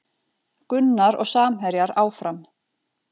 Gunnar og samherjar áfram